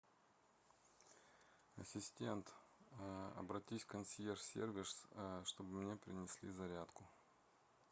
ассистент обратись в консьерж сервис чтобы мне принесли зарядку